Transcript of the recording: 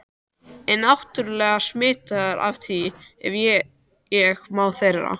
er náttúrlega smitaður af því ef ég má þarna